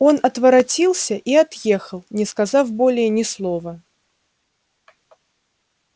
он отворотился и отъехал не сказав более ни слова